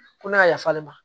Ko ne ka yafa ne ma